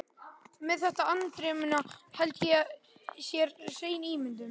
Þetta með andremmuna held ég sé hrein ímyndun.